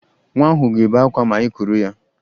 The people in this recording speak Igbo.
Nwa ahụ ga-ebe akwa ma ị kuru ya